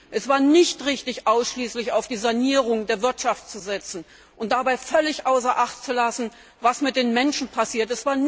Es war nicht richtig, ausschließlich auf die Sanierung der Wirtschaft zu setzen und dabei völlig außer Acht zu lassen, was mit den Menschen passiert.